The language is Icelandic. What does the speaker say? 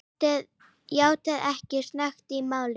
játaði ekki sök í málinu.